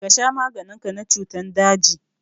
Ka sha maganin ka na cutan daji!